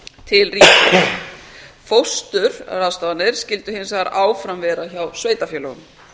til ríkisins fóstur ráðstafanir skyldu hins vegar áfram vera hjá sveitarfélögum